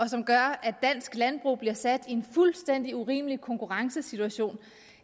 som gør at dansk landbrug bliver sat i en fuldstændig urimelig konkurrencesituation